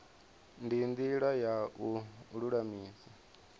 ndi ndila ya u lulamisa